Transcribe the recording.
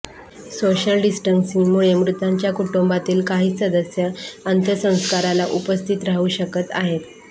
social डिस्टन्सिंगमुळे मृतांच्या कुटुंबातील काहीच सदस्य अंत्यसंस्काराला उपस्थित राहू शकत आहेत